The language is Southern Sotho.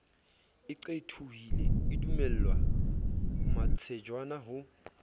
e qethohile edumella matswejana ho